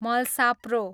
मलसाप्रो